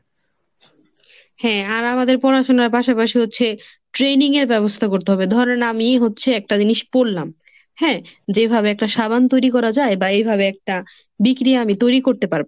হ্যাঁ আর আমাদের পড়াশোনার পাশাপাশি হচ্ছে training এর ব্যবস্থা করতে হবে। ধরেন আমিই হচ্ছে একটা জিনিস পড়লাম। হ্যাঁ যেভাবে একটা সাবান তৈরি করা যায় বা এভাবে একটা bikini আমি তৈরি করতে পারব।